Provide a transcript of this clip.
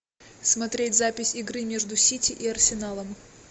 смотреть запись игры между сити и арсеналом